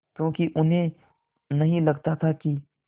क्योंकि उन्हें नहीं लगता था कि